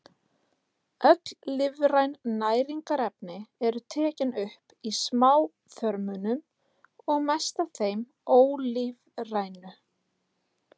Öll lífræn næringarefni eru tekin upp í smáþörmunum og mest af þeim ólífrænu.